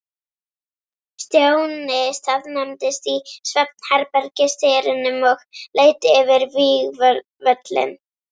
Stjáni staðnæmdist í svefnherbergisdyrunum og leit yfir vígvöllinn.